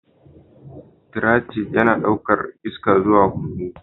Trachea yana ɗaukar iska zuwa hunhu